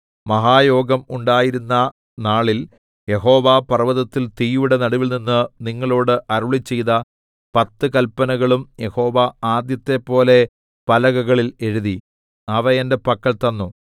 മഹായോഗം ഉണ്ടായിരുന്ന നാളിൽ യഹോവ പർവ്വതത്തിൽ തീയുടെ നടുവിൽനിന്ന് നിങ്ങളോട് അരുളിച്ചെയ്ത പത്ത് കല്പനകളും യഹോവ ആദ്യത്തെപ്പോലെ പലകകളിൽ എഴുതി അവ എന്റെ പക്കൽ തന്നു